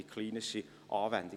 Wir kommen zur Abstimmung.